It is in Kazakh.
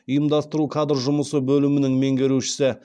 ұйымдастыру кадр жұмысы бөлімінің меңгерушісі